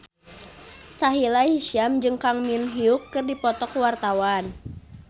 Sahila Hisyam jeung Kang Min Hyuk keur dipoto ku wartawan